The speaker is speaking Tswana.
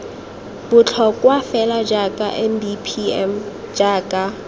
botlhokwa fela jaaka mbpm jaaka